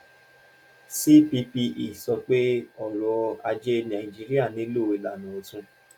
ccpe sọ pé ọrọ ajé nàìjíríà nílò ilana ọ̀tun.